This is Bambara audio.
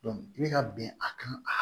i bɛ ka bɛn a kan a